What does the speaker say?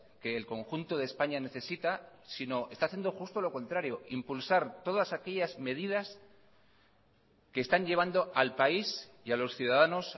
que el conjunto de españa necesita sino está haciendo justo lo contrario impulsar todas aquellas medidas que están llevando al país y a los ciudadanos